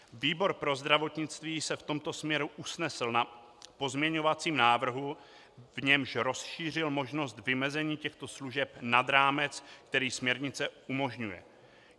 Výbor pro zdravotnictví se v tomto směru usnesl na pozměňovacím návrhu, v němž rozšířil možnost vymezení těchto služeb nad rámec, který směrnice umožňuje.